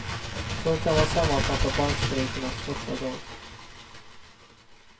Så kan man sammanfatta bankstrejkens första dag.